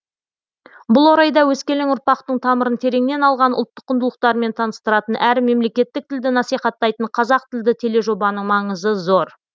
бұл орайда өскелең ұрпақтың тамырын тереңнен алған ұлттық құндылықтармен таныстыратын әрі мемлекеттік тілді насихаттайтын қазақ тілді тележобаның маңызы зор